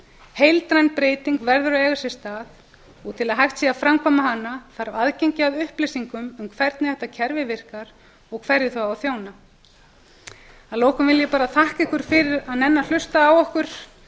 heildræn breyting verður að eiga sér stað og til að hægt sé að framkvæma hana þarf aðgengi að upplýsingum um hvernig þetta kerfi virkar og hverju það á að þjóna að lokum vil ég bara þakka ykkur fyrir að nenna að hlusta á okkur